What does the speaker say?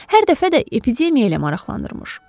Hər dəfə də epidemiya ilə maraqlanırmış.